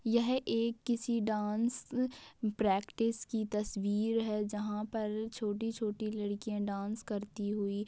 यह एक किसी डांस प्रैक्टिस की तस्वीर हैजहां पर छोटी-छोटी लड़किया डांस करती हुई-